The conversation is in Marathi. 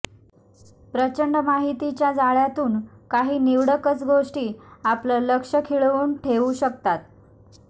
प्रचंड माहितीच्या जाळ्यातून काही निवडकच गोष्टी आपलं लक्ष खिळवून ठेवू शकतात